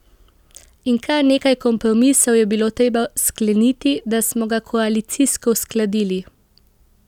In kar nekaj kompromisov je bilo treba skleniti, da smo ga koalicijsko uskladili.